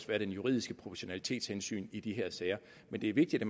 være det juridiske proportionalitetshensyn at i de her sager men det er vigtigt